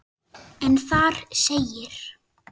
en þar segir